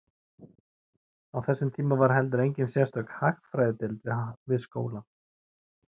Á þessum tíma var heldur engin sérstök hagfræðideild við skólann.